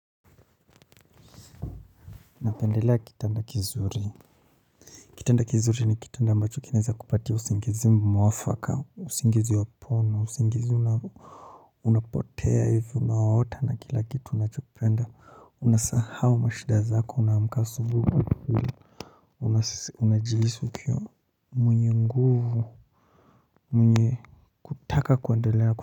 Napendelea kitanda kizuri, kitanda kizuri ni kitanda ambacho kinaweza kukupatia usingizi mwafaka, usingizi wa pono, usingizi unapotea hivyo unawaota na kila kitu unachopenda. Unasahau mashida zako unaamka asubuhi, unajihisi ukiwa, mwenye nguvu, mwenye kutaka kuendelea kuwa.